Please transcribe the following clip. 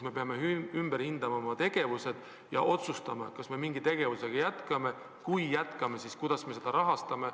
Me peame oma tegevused ümber hindama ja otsustama, kas me üht või teist tegevust jätkame, ja kui jätkame, siis kuidas me seda rahastame.